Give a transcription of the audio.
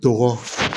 Tɔgɔ